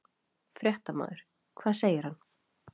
Fréttamaður: Hvað segir hann?